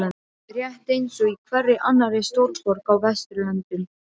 Rétt eins og í hverri annarri stórborg á vesturlöndum.